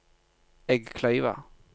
Eggkleiva